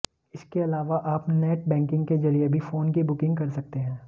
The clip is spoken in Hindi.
इसके अलावा आप नेट बैंकिग के जरिए भी फोन की बुकिंग कर सकते हैं